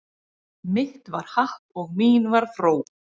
Mitt var happ og mín var fró